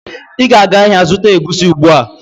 Ị ga-aga ahịa zụta egusi ugbu a!